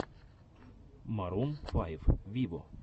марун файв виво